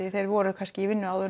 þeir voru kannski í vinnu áður